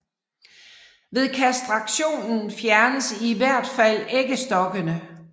Ved kastrationen fjernes i hvert fald æggestokkene